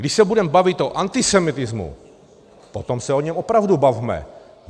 Když se budeme bavit o antisemitismu, potom se o něm opravdu bavme.